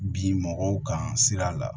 Bi mɔgɔw kan sira la